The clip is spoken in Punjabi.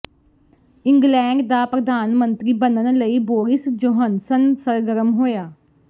ਇੰਗਲੈਂਡ ਦਾ ਪ੍ਰਧਾਨ ਮੰਤਰੀ ਬਣਨ ਲਈ ਬੋਰਿਸ ਜੌਹਨਸਨ ਸਰਗਰਮ ਹੋਇਆ